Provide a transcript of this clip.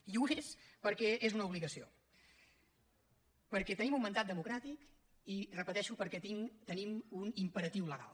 i ho és perquè és una obligació perquè tenim un mandat democràtic i ho repeteixo perquè tinc tenim un imperatiu legal